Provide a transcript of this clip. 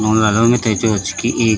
मिथे जो च की एक।